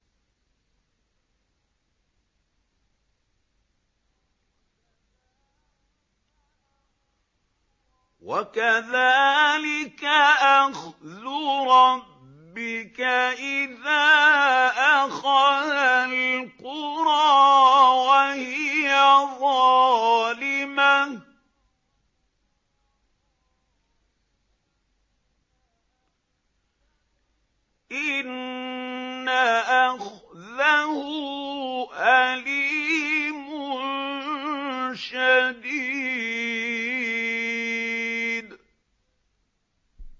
وَكَذَٰلِكَ أَخْذُ رَبِّكَ إِذَا أَخَذَ الْقُرَىٰ وَهِيَ ظَالِمَةٌ ۚ إِنَّ أَخْذَهُ أَلِيمٌ شَدِيدٌ